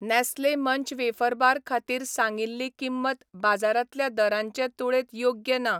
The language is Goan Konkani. नॅस्ले मंच वेफर बार खातीर सांगिल्ली किंमत बाजारांतल्या दरांचे तुळेंत योग्य ना.